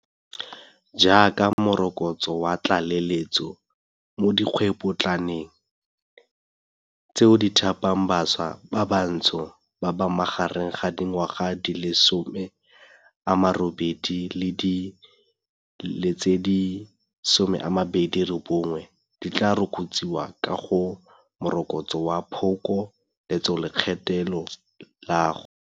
Jaaka morokotso wa tlale letso mo dikgwebopo tlaneng, tseo di thapang bašwa ba bathobatsho ba ba magareng ga dingwaga di le 18 le di le 29, di tla rokotsiwa ka go Morokotso wa Phoko letsolekgetho la go.